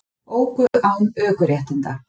Óku án ökuréttinda